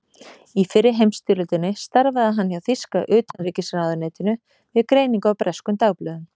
Í fyrri heimsstyrjöldinni starfaði hann hjá þýska utanríkisráðuneytinu við greiningu á breskum dagblöðum.